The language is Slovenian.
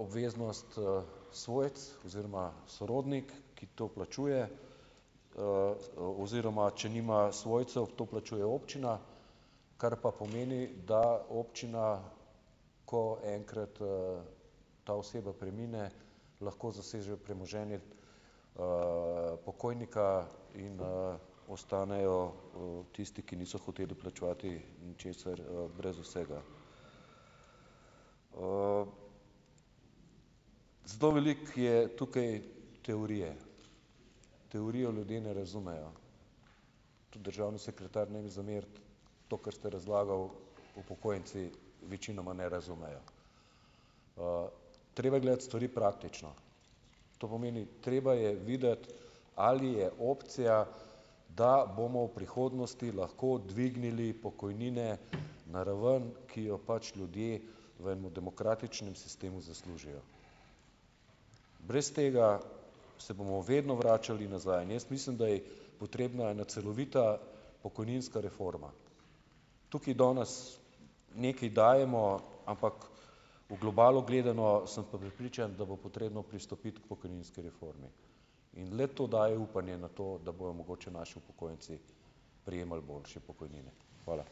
obveznost, svojec oziroma sorodnik, ki to plačuje, oziroma če nima svojcev, to plačuje občina, kar pa pomeni, da občina, ko enkrat, ta oseba premine, lahko zasežejo premoženje, pokojnika in, ostanejo, tisti, ki niso hoteli vplačevati ničesar, brez vsega, zelo veliko je tukaj teorije, teorijo ljudje ne razumejo, državni sekretar, ne mi zameriti, to, kar ste razlagal, upokojenci večinoma ne razumejo, treba je gledati stvari praktično, to pomeni: treba je videti, ali je opcija, da bomo v prihodnosti lahko dvignili pokojnine na raven, ki jo pač ljudje v enem demokratičnem sistemu zaslužijo. Brez tega se bomo vedno vračali nazaj in jaz mislim da je potrebna ena celovita pokojninska reforma, tukaj danes nekaj dajemo, ampak v globalu gledano sem pa prepričan, da bo potrebno pristopiti k pokojninski reformi in le to daje upanje na to, bojo mogoče naši upokojenci prejemali boljše pokojnine. Hvala.